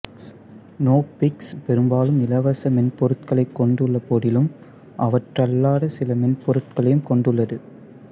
Knoppix பெரும்பாலும் இலவச மென்பொருட்களைக் கொண்டுள்ளபோதிலும் அவ்வாறல்லாத சில மென்பொருட்களையும் கொண்டுள்ளது